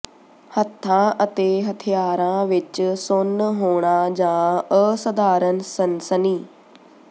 ਹੱਥਾਂ ਅਤੇ ਹਥਿਆਰਾਂ ਵਿਚ ਸੁੰਨ ਹੋਣਾ ਜਾਂ ਅਸਧਾਰਨ ਸਨਸਨੀ